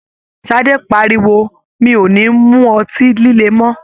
Ṣadé pariwo "mi ò ní mú ọtí líle mọ!́".